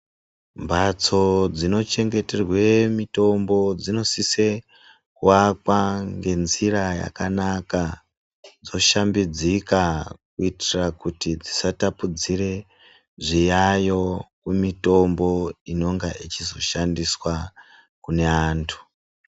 Mbatso dzinochengeterwe mitombo dzinosise kuvakwa ngenzira yakanaka, dzoshambidzika kutira kuti dzisatapudzire zviyayo kumitombo inenge ichizoshandiswa kune antu.